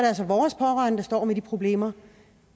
altså vores pårørende der står med de problemer